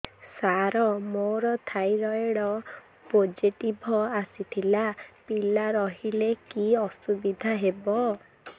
ସାର ମୋର thyroid positive ଆସିଥିଲା ପିଲା ରହିଲେ କି ଅସୁବିଧା ହେବ